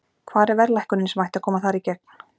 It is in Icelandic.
Hvar er verðlækkunin sem ætti að koma þar í gegn?